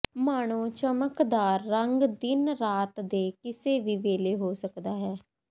ਮਾਣੋ ਚਮਕਦਾਰ ਰੰਗ ਦਿਨ ਰਾਤ ਦੇ ਕਿਸੇ ਵੀ ਵੇਲੇ ਹੋ ਸਕਦਾ ਹੈ